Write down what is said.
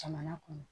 Jamana kɔnɔ